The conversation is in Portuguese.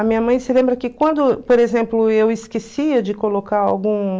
A minha mãe se lembra que quando, por exemplo, eu esquecia de colocar algum...